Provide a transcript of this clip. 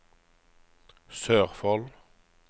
Sørfold